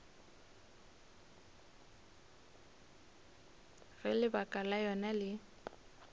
ge lebaka la yona le